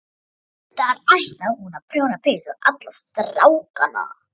Reyndar ætlaði hún að prjóna peysur á alla strákana